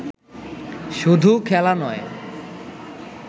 শুধু খেলা নয়